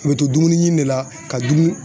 U be to dumuni ɲini de la ka dumu